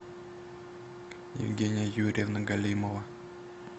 евгения юрьевна галимова